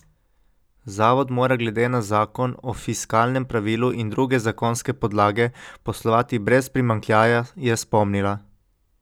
Zavod mora glede na zakon o fiskalnem pravilu in druge zakonske podlage poslovati brez primanjkljaja, je spomnila.